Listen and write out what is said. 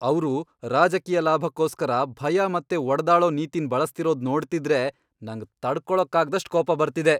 ಅವ್ರು ರಾಜಕೀಯ ಲಾಭಕ್ಕೋಸ್ಕರ ಭಯ ಮತ್ತೆ ಒಡೆದಾಳೋ ನೀತಿನ್ ಬಳಸ್ತಿರೋದ್ ನೋಡ್ತಿದ್ರೆ ನಂಗ್ ತಡ್ಕೊಳಕ್ಕಾಗ್ದಷ್ಟ್ ಕೋಪ ಬರ್ತಿದೆ.